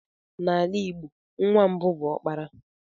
N'ala Igbo, nwa mbụ bụ okpara.